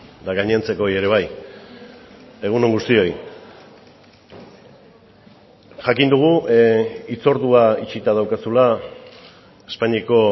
eta gainontzekoei ere bai egun on guztioi jakin dugu hitzordua itxita daukazula espainiako